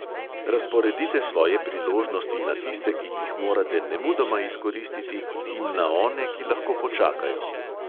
Razporedite svoje priložnosti na tiste, ki jih morate nemudoma izkoristiti, in na one, ki lahko počakajo.